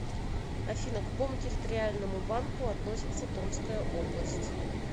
афина к какому территориальному банку относится томская область